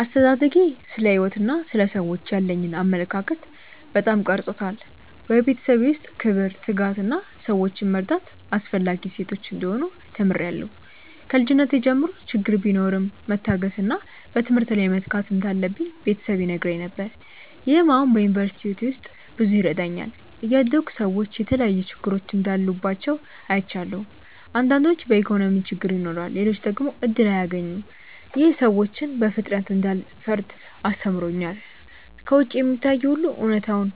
አስተዳደጌ ስለ ሕይወት እና ስለ ሰዎች ያለኝን አመለካከት በጣም ቀርጾታል። በቤተሰቤ ውስጥ ክብር፣ ትጋት እና ሰዎችን መርዳት አስፈላጊ እሴቶች እንደሆኑ ተምሬያለሁ። ከልጅነቴ ጀምሮ ችግር ቢኖርም መታገስ እና በትምህርት ላይ መትጋት እንዳለብኝ ቤተሰብ ይነግረኝ ነገር። ይህም አሁን በዩኒቨርሲቲ ሕይወቴ ውስጥ ብዙ ይረዳኛል። እያደግሁ ሰዎች የተለያዩ ችግሮች እንዳሉባቸው አይቻለሁ። አንዳንዶች በኢኮኖሚ ችግር ይኖራሉ፣ ሌሎች ደግሞ እድል አያገኙም። ይህ ሰዎችን በፍጥነት እንዳልፈርድ አስተምሮኛል። ከውጭ የሚታየው ሁሉ እውነተኛውን